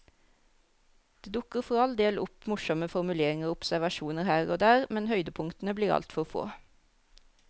Det dukker for all del opp morsomme formuleringer og observasjoner her og der, men høydepunktene blir altfor få.